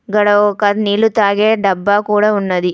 గాడ ఒక నీళ్లు తాగే డబ్బా కూడా ఉన్నది.